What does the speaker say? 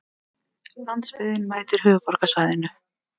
Landsbyggðin mætir höfuðborgarsvæðinu